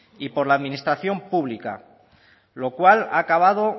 y por la administración pública lo cual ha acabado